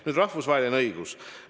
Nüüd rahvusvaheline õigus.